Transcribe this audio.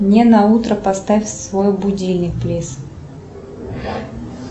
мне на утро поставь свой будильник плиз